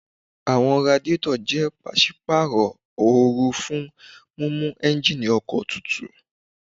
Àwọn radiétọ̀ jẹ́ pàsípàrọ̀ oru fún mímú éúnjínì ọkọ̀ tutù